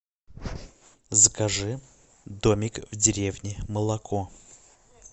закажи домик в деревне молоко